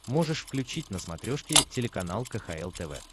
можешь включить на смотрешке телеканал кхл тв